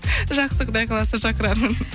жақсы құдай қаласа шақырармын